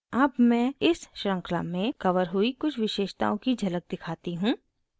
अब मैं इस श्रृंखला में कवर हुई कुछ विशेषताओं की झलक दिखाती हूँ